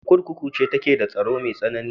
Wace kurkuku ce take da tsaro mai tsanani?